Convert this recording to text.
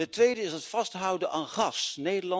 Ten tweede is er het vasthouden aan gas.